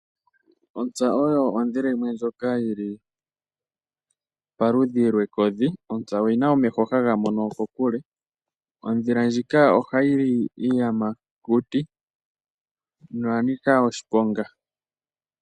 Ontsa oyo odhila yimwe ndjoka yili paludhi lwekodhi. Ontsa oyina omeho haga mono kokule. Odhila ndjika ohayi li iiyamakuti, noya nika oshiponga.